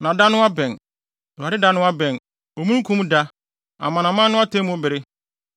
Na da no abɛn, Awurade da no abɛn, omununkum da, amanaman no atemmu bere.